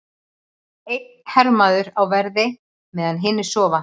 Einn hermaður á verði meðan hinir sofa.